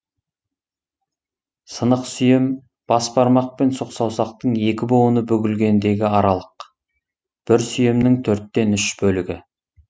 сынық сүйем бас бармақ пен сұқ саусақтың екі буыны бүгілгендегі аралық бір сүйемнің төрттен үш бөлігі